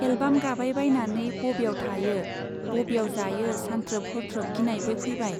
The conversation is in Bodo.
एलबाम गाबाय बायनानै बब्याव थायो , बब्याव जायो सान्थ्रोब हरथ्रोब गिनायबो फैबाय।